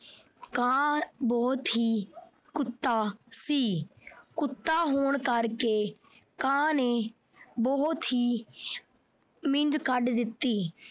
ਕਾਂ ਬਹੁਤ ਹੀ ਕੁੱਤਾ ਸੀ। ਕੁੱਤਾ ਹੋਣ ਕਰਕੇ ਕਾਂ ਨੇ ਬਹੁਤ ਹੀ ਕੱਢ ਦਿੱਤੀ।